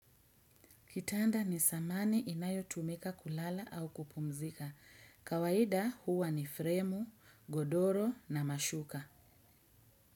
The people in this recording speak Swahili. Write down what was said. Kitanda ni samane inayotumika kulala au kupumzika. Kawaida huwa ni fremu, godoro na mashuka.